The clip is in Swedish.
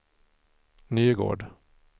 Nygård